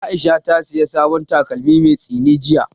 Aisha ta saya sabon takalmi mai tsini jiya